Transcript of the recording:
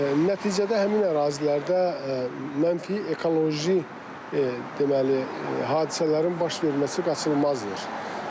Nəticədə həmin ərazilərdə mənfi ekoloji deməli, hadisələrin baş verməsi qaçılmazdır.